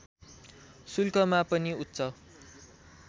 शुल्कमा पनि उच्च